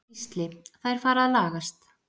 Gísli: Þær fara að lagast.